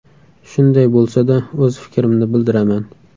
Shunday bo‘lsa-da, o‘z fikrimni bildiraman.